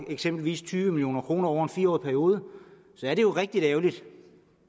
eksempelvis tyve million kroner over fire årig periode så er det jo rigtig ærgerligt